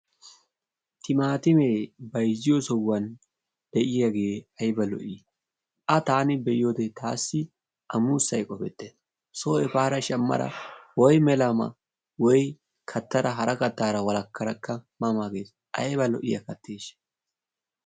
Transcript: Timaatime bayzziyo sohuwan de'iyagee ayba lo"i! A taani be'iyode taassi A muussay qoppettees. Soo baada shammara woym mela ma woy kattada hara kattaara walakkadakka ma ma gees ayba lo'iya attestation!